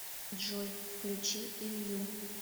джой включи илью